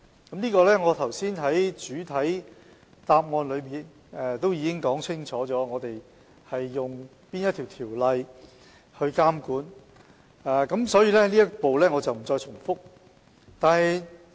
就此，我剛才在主體答覆中已清楚說明我們引用哪項條例去監管，所以這部分我不再重複。